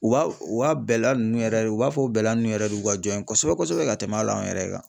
U b'a u ka bɛla ninnu yɛrɛ de u b'a fɔ bɛla nun yɛrɛ de u ka jɔn ye kosɛbɛ-kosɛbɛ ka tɛmɛ hal'anw yɛrɛ kan.